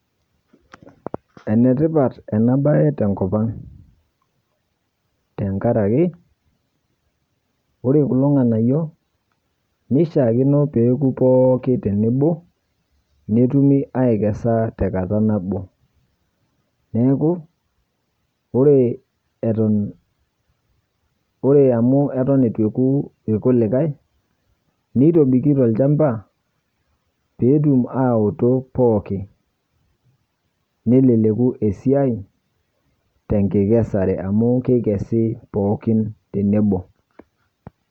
Enetipat ena baye tenkopang' tengaraki ore kulo ng'anayio neishiakino peoku pooki tenebo netumi aikesa tekata nabo. Neaku ore eton, ore amu eton etu eoku ilkulikae neitobiki tolchamba peetum aoto pooki. Neleleku esiai tenkikesare amu keikesi pookin tenebo.